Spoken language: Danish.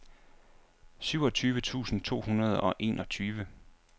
syvogtyve tusind to hundrede og enogtyve